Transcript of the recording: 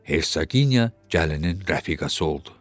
Hersaqiniya gəlinin rəfiqəsi oldu.